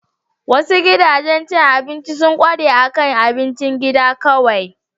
Wasu gidajen cin abinci sun ƙware akan abincin gida kawai.